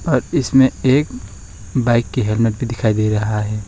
और इसमें एक बाइक के हेलमेट भी दिखाई दे रहा है।